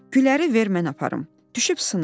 Gülləri ver mən aparım, düşüb sınar.